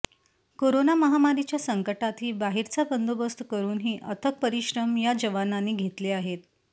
corona महामारीच्या संकटातही बाहेरचा बंदोबस्त करुनही अथक परिश्रम या जवानांनी घेतले आहेत